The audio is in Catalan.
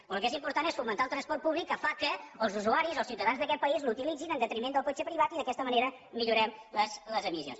però el que és important és fomentar el transport públic que fa que els usuaris els ciutadans d’aquest país l’utilitzin en detriment del cotxe privat i d’aquesta manera millorem les emissions